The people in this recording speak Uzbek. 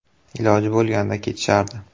Iloji bo‘lganda ketishardi.